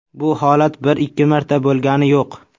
Bu holat bir-ikki marta bo‘lgani yo‘q.